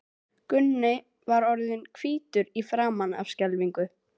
Gunni var orðinn hvítur í framan af skelfingu.